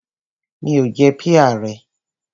Mi ò jẹ píà rẹ.